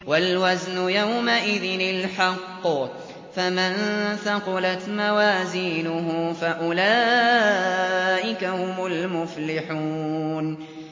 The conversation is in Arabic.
وَالْوَزْنُ يَوْمَئِذٍ الْحَقُّ ۚ فَمَن ثَقُلَتْ مَوَازِينُهُ فَأُولَٰئِكَ هُمُ الْمُفْلِحُونَ